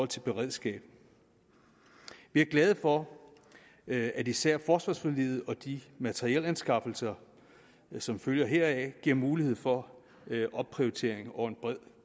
til beredskab vi er glade for at især forsvarsforliget og de materielanskaffelser som følger heraf giver mulighed for opprioritering over en bred